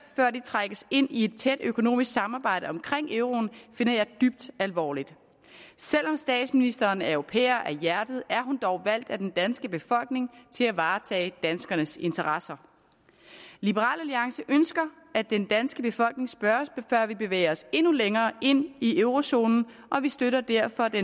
før de trækkes ind i et tæt økonomisk samarbejde omkring euroen finder jeg dybt alvorligt selv om statsministeren er europæer af hjertet er hun dog valgt af den danske befolkning til at varetage danskernes interesser liberal alliance ønsker at den danske befolkning spørges før vi bevæger os endnu længere ind i eurozonen og vi støtter derfor det